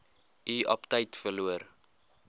u aptyt verloor